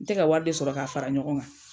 N tɛ ka wari de sɔrɔ k'a fara ɲɔgɔn kan.